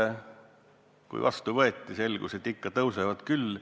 Kui otsus vastu võeti, selgus, et ikka tõusevad küll.